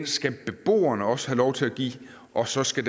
skal beboerne også have lov til at give og så skal